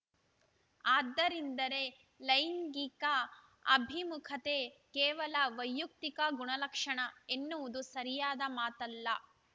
ಆದ್ದರಿಂದಲೇ ಲೈಂಗಿಕ ಅಭಿಮುಖತೆ ಕೇವಲ ವೈಯುಕ್ತಿಕ ಗುಣಲಕ್ಷಣ ಎನ್ನುವುದು ಸರಿಯಾದ ಮಾತಲ್ಲ